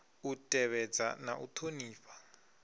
u tevhedza na u ṱhonifha